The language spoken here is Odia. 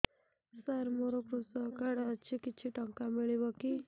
ସାର ମୋର୍ କୃଷକ କାର୍ଡ ଅଛି କିଛି ଟଙ୍କା ମିଳିବ କି